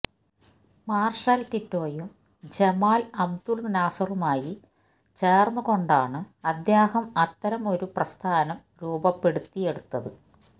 marshal ടിറ്റോയും Jamal Abdul നാസറുമായി ചേർന്ന് കൊണ്ടാണ് അദ്ദേഹം അത്തരം ഒരു പ്രസ്ഥാനം രൂപപ്പെടുത്തിയെടുത്തത്